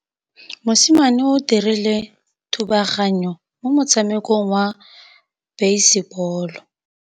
Mosimane o dirile thubaganyô mo motshamekong wa basebôlô.